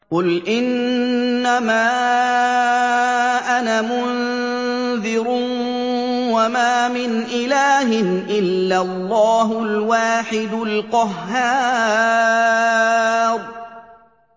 قُلْ إِنَّمَا أَنَا مُنذِرٌ ۖ وَمَا مِنْ إِلَٰهٍ إِلَّا اللَّهُ الْوَاحِدُ الْقَهَّارُ